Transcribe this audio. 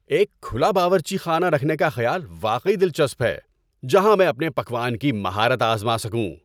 ایک کھلا باورچی خانہ رکھنے کا خیال واقعی دلچسپ ہے جہاں میں اپنے پکوان کی مہارت آزما سکوں۔